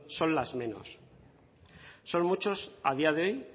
son las menos son muchos a día de hoy